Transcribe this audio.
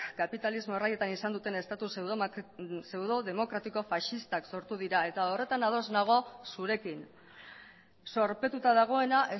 kapitalismo erraietan izan duten estatu pseudodemokratiko faxistak sortu dira eta horretan ados nago zurekin zorpetuta dagoena